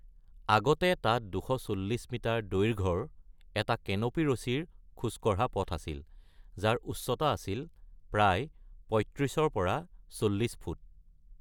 আগতে তাত ২৪০ মিটাৰ দৈৰ্ঘ্যৰ এটা কেনপি ৰছীৰে খোজ কঢ়া পথ আছিল, যাৰ উচ্চতা আছিল প্ৰায় ৩৫ৰ পৰা ৪০ ফুট।